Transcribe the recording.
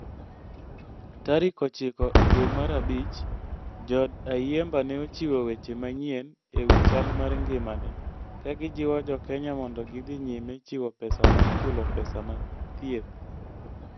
Ttarik ochiko e dwe mar abich, jood Ayimba ne ochiwo weche manyien e wi chal mar ngimane, ka gijiwo Jo Kenya mondo gidhi nyime chiwo pesa mar chulo pesa mag thieth.